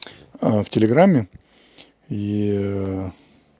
в телеграмме и